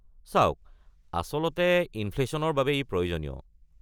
চাওক, আচলতে ইনফ্লেশ্যনৰ বাবে ই প্ৰয়োজনীয়।